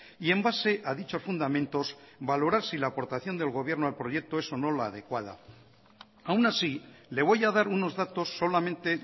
y en base a dichos fundamentos valorar si la aportación del gobierno al proyecto es o no la adecuada aún así le voy a dar unos datos solamente